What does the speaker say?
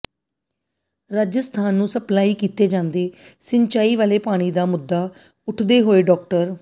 ਰਾਜਸਥਾਨ ਨੂੰ ਸਪਲਾਈ ਕੀਤੇ ਜਾਂਦੇ ਸਿੰਚਾਈ ਵਾਲੇ ਪਾਣੀ ਦਾ ਮੁੱਦਾ ਉਠਉਂਦੇ ਹੋਏ ਡਾ